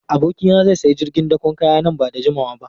Abokina zai sayi jirgin dakon kaya nan ba da jimawa ba.